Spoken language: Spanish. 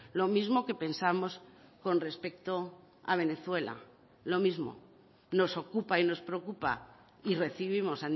lo mismo que pensamos con respecto a venezuela lo mismo nos ocupa y nos preocupa y recibimos